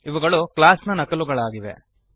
ಇವುಗಳು ಕ್ಲಾಸ್ ನ ನಕಲುಗಳಾಗಿವೆ